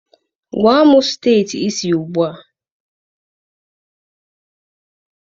Gwa m steeti ị si ugbu a.